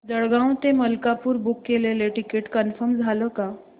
जळगाव ते मलकापुर बुक केलेलं ticket confirm झालं का